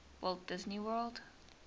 walt disney world